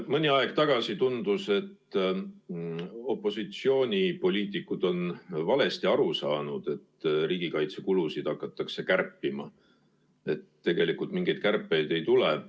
Mõni aeg tagasi tundus, et opositsioonipoliitikud on valesti aru saanud, et riigikaitsekulusid hakatakse kärpima, ja tegelikult mingeid kärpeid ei tule.